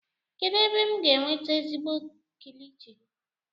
kedu ebe m ga-enweta ezigbo kilichi?